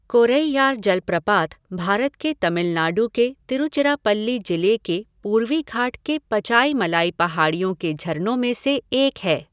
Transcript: कोरैयार जलप्रपात भारत के तमिलनाडु के तिरुचिरापल्ली जिले के पूर्वी घाट के पचाईमलाई पहाड़ियों के झरनों में से एक है।